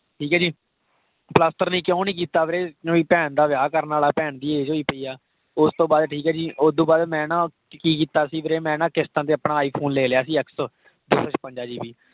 ਠੀਕ ਹੈ ਜੀ। ਪਲਸਤਰ ਨਹੀਂ ਕਿਉਂ ਨਹੀਂ ਕੀਤਾ ਵੀਰੇ? ਕਿਉਂਕਿ ਭੈਣ ਦਾ ਵਿਆਹ ਕਰਨ ਵਾਲਾ, ਭੈਣ ਦੀ age ਹੋਈ ਪਈ ਹੈ। ਉਸਤੋਂ ਬਾਅਦ ਠੀਕ ਹੈ ਜੀ, ਓਦੋਂ ਬਾਅਦ ਮੈਂ ਨਾ ਕਿ ਕੀਤਾ ਸੀ ਵੀਰੇ ਮੈਂ ਨਾ ਕਿਸਤਾਂ ਤੇ ਆਪਣਾ iphone ਲੇ ਲਿਆ ਸੀ, x ਦੋ ਸੋ ਛਪੰਜਾ gb